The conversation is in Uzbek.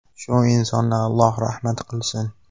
Shu insonni Alloh rahmat qilsin.